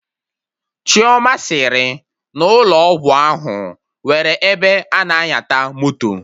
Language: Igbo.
Chioma sịrị n'ụlọ ọgwụ ahụ nwere ebe ana nyata moto